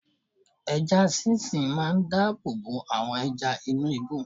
Ẹja sí sìn máa dáàbò bo àwọn ẹja inú ibú.